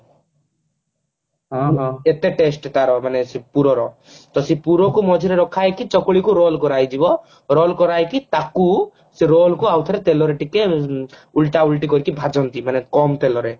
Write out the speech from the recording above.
ଏତେ test ତାର ମାନେ ସେ ପୁର ର ତ ସେ ପୁର କୁ ମଝିରେ ରଖାହେଇକି ଚକୁଳି କୁ roll କରା ହେଇଯିବ roll କରା ହେଇକି ତାକୁ ସେ roll କୁ ଆଉ ଥରେ ତେଲରେ ଟିକେ ଉଁ ଉଲଟା ଉଲୁଟି କରିକି ଭାଜନ୍ତି ମାନେ କମ ତେଲରେ